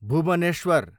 Bhubaneswar